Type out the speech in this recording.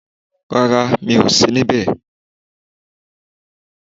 Rárá mi ò sí níbè